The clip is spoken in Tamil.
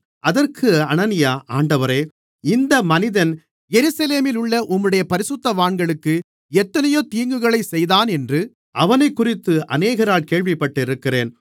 அதற்கு அனனியா ஆண்டவரே இந்த மனிதன் எருசலேமிலுள்ள உம்முடைய பரிசுத்தவான்களுக்கு எத்தனையோ தீங்குகளைச் செய்தானென்று அவனைக்குறித்து அநேகரால் கேள்விப்பட்டிருக்கிறேன்